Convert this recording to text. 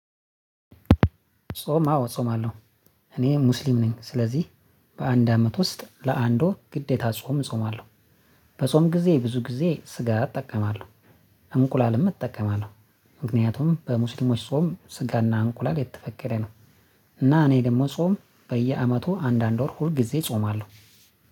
ጾም አዎ እጾማለሁ። እኔ ሙስሊም ነኝ ስለዚህ በአንድ አመት ውስጥ ለአንድ ወር ግዴታ ጾም እጾማለሁ። በጾም ጊዜ ብዙ ጊዜ ስጋ እጠቀማለሁ። እንቁላልም እጠቀማለሁ። ምክንያቱም በሙስልሞች ጾም ስጋና እንቁላል የተፈቀደ ነው። እና እኔ ደግሞ ጾም በየአመቱ አንዳንድ ወር ሁል ጊዜ እጾማለሁ።